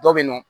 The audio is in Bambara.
Dɔ bɛ yen nɔ